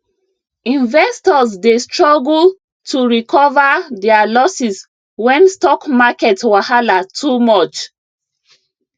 investors dey struggle to recover their losses when stock market wahala too much